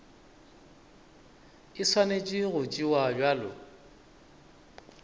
e swanetše go tšewa bjalo